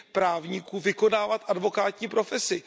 právníků vykonávat advokátní profesi.